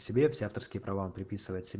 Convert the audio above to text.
себе все авторские права приписывает сё